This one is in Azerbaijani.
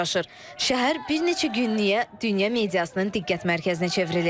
Şəhər bir neçə günlük dünya mediasının diqqət mərkəzinə çevrilib.